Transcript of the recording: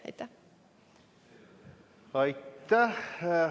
Aitäh!